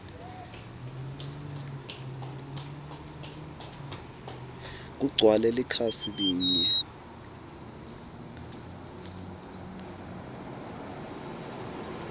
kugcwale likhasi linye